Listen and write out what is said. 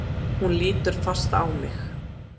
Hún lítur fast á mig.